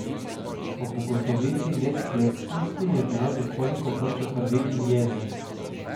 Ob ugotovitvi nesklepčnosti je bilo nekoliko vroče krvi in jeze.